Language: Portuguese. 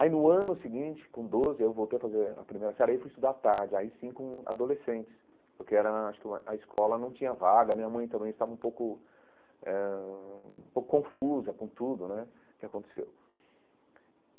Aí, no ano seguinte, com doze, eu voltei a fazer a primeira série e aí fui estudar à tarde, aí sim com adolescentes, porque era acho que a a escola não tinha vaga, a minha mãe também estava um pouco eh ãh um pouco confusa com tudo né que aconteceu.